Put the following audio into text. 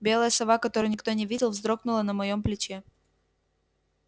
белая сова которую никто не видел вздрогнула на моём плече